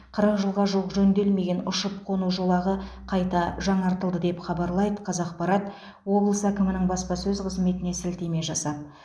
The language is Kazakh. қырық жылға жуық жөнделмеген ұшып қону жолағы қайта жаңартылды деп хабарлайды қазақпарат облыс әкімінің баспасөз қызметіне сілтеме жасап